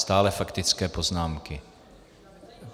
Stále faktické poznámky.